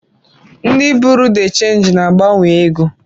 Ndi Buruu de chenji na-agbanwe ego.